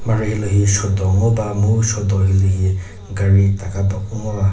mharhe hilühi shodo ngoba mu shodo hilühi gari taka ba ngoba.